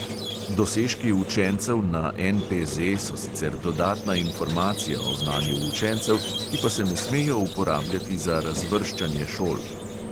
Dosežki učencev na NPZ so sicer dodatna informacija o znanju učencev, ki pa se ne smejo uporabljati za razvrščanje šol.